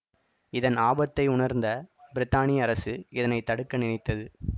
இதன் ஆபத்தை உணர்ந்த பிரித்தானிய அரசு இதனை தடுக்க நினைத்தது